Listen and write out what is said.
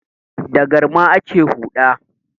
Da galma ake huɗa.